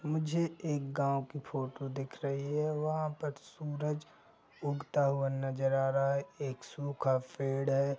मुझे एक गांव की फोटो दिख रही है वहाँ पर सूरज उगता हुआ नज़र आ रहा है एक सूखा पेड़ है।